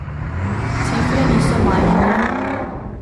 Cifre niso majhne.